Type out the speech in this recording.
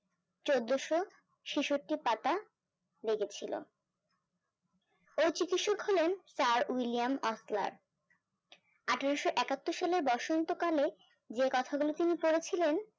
চোদ্দোশো চিশ্তট্টি পাতা লেগেছিল এই চিৎসক হলেন স্যার ওয়াল্লিম ওসলার আঠারোশো একাত্তর সালের বসন্তকালে যে কথাগুলো তিনি পড়ে ছিলেন